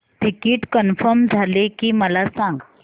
ticket confirm झाले की मला सांग